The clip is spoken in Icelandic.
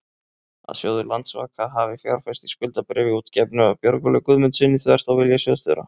að sjóður Landsvaka hafi fjárfest í skuldabréfi útgefnu af Björgólfi Guðmundssyni, þvert á vilja sjóðsstjóra?